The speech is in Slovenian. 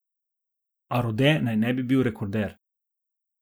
A Rode naj ne bi bil rekorder.